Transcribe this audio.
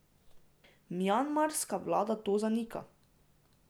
Mjanmarska vlada to zanika.